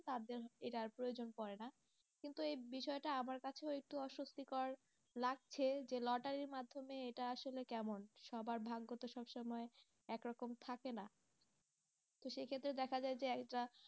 তাদের এটার প্রয়োজন পরে না, কিন্তু এই বিষয়টা আমার কাছেও একটু অস্বস্থিকর যে লটারির মাধ্যমে এটা আসলে কেমন? সবার ভাগ্য তো সবসময় একরকম থাকে না দেখা যায় যে একটা